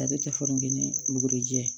Ale tɛ foyi kɛ ni bugurijɛ ye